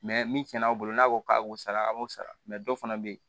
min cɛna aw bolo n'a ko k'a b'o sara a b'o sara dɔ fana bɛ yen